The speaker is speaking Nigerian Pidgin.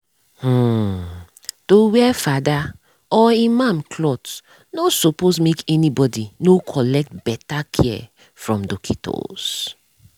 hmn-- to wear fada or imam cloth nor suppos make any bodi nor collect beta care from dockitos.